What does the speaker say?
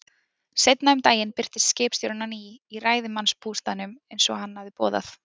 Seinna um daginn birtist skipstjórinn á ný í ræðismannsbústaðnum, eins og hann hafði boðað.